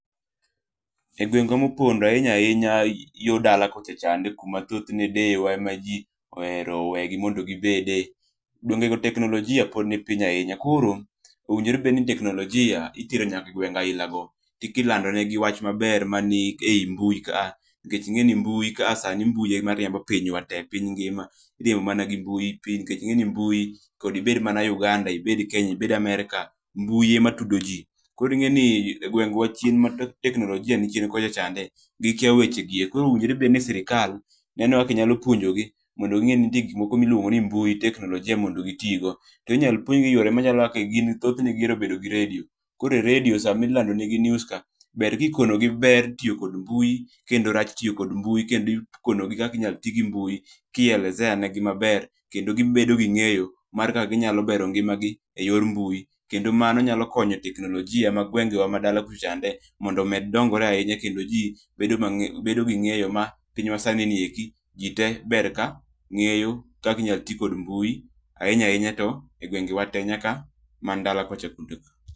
Egwenge mopondo ahinya ahinya yo dala kocha chande kama thothne deewa emaji ohero weyo mondo gibedie Gwenge teknlojia pod ni piny ahinya koro onego obed ni teknolojia itero nyaka ewenge bila go kilando negi wach maber manie ei mbui ka nikech mbui sani emariembo piny ngima nikech mbui kod ibed uganda , ibed America ,mbui ematudoji koro ingeni gwengwa teknlojia ni chien. Gikia wachegi koro sirikal onego bed ni punjogi mondo gi nge ni nitir gik moko kaka teknlojia kod mbui mondo gitigo. To inyalo puonjgi e yo mar redio nikech gihero bet kod redio. koro e redio sama ilando negi news ka to ber ka ikono gi ber tiyo kod mbui kod rachne kendo kaka inyal tigi mbui kielezea negi maber kendo gibedo gi ng'eyo mar kaka ginyalo bero ngima gi eyor mbui kendo mano nyalo konyo e teknolijia ma gwengewa ma dala kocha mondo gimed bedo gi ng'eyo kaka ginyalo bero ngima gi eyor mbui kendo mano nyalo konyo teknlojia e gwengewa madala kocha mondo omed dongore ahinya kendo ji bedo gi ngeyo ma pinyma sani ni ji te ber ka ngeyo kaka inyal ti kod mbui ahinya ahinya to egwengewa te nyaka man dala ka.